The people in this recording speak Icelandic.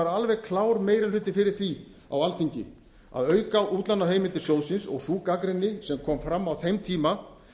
alveg klár meiri hluti fyrir því á alþingi að auka útlánaheimildir sjóðsins og sú gagnrýni sem kom fram á þeim tíma